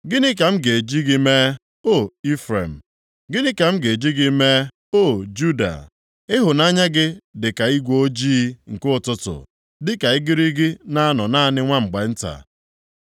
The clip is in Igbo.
“Gịnị ka m ga-eji gị mee, O Ifrem? Gịnị ka m ga-eji gị mee, O Juda? Ịhụnanya gị dịka igwe ojii nke ụtụtụ, dịka igirigi na-anọ naanị nwa mgbe nta.